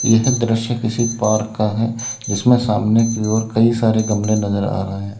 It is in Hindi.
यह दृश्य किसी पार्क का है जिसमें सामने की ओर कई सारे गमले नजर आ रहे हैं।